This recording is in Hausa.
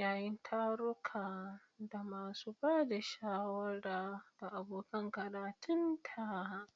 yayin tarurruka da masu ba da shawara ga abokan karatunta.